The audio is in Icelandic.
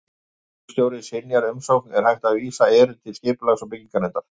Ef garðyrkjustjóri synjar umsókn er hægt að vísa erindi til Skipulags- og bygginganefndar.